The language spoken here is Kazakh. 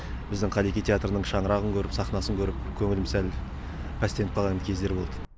біздің қаллеки театрының шаңырағын көріп сахнасын көріп көңілім сәл пәстеніп қалған кездері болды